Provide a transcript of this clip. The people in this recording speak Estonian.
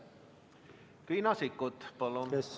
Riina Sikkut, palun!